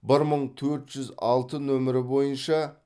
бір мың төрт жүз алты нөмірі бойынша